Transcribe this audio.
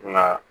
Nka